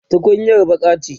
tukunyar baƙa ce